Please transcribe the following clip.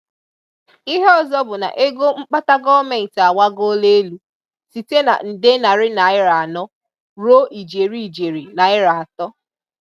Ìhè ọzọ bụ na égo mkpàtà gọọ́mẹntì agbàgòòlà elu site na nde narị naịra anọ ruo ijeri ijeri naịra atọ.